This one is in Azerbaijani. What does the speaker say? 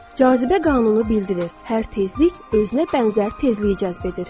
Cazibə qanunu bildirir: hər tezlik özünə bənzər tezliyi cəzb edir.